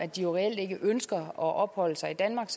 de reelt ikke ønsker at opholde sig i danmark